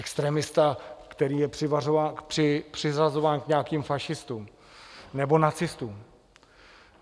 Extremista, který je přiřazován k nějakým fašistům nebo nacistům?